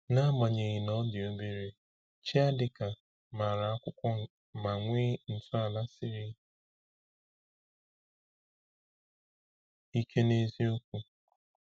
N’agbanyeghị na ọ dị obere, Chiadika maara akwụkwọ ma nwee ntọala siri ike n’eziokwu.